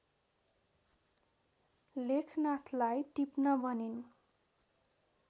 लेखनाथलाई टिप्न भनिन्